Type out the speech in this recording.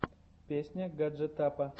песня гаджетапа